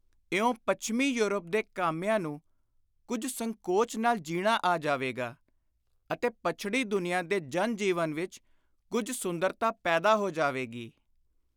ਇਉਂ ਪੱਛਮੀ ਯੂਰਪ ਦੇ ਕਾਮਿਆਂ ਨੂੰ ਕੁਝ ਸੰਕੋਚ ਨਾਲ ਜੀਣਾ ਆ ਜਾਵੇਗਾ ਅਤੇ ਪੱਛੜੀ ਦੁਨੀਆਂ ਦੇ ਜਨ-ਜੀਵਨ ਵਿਚ ਕੁਝ ਸੁੰਦਰਤਾ ਪੈਦਾ ਹੋ ਜਾਵੇਗੀ।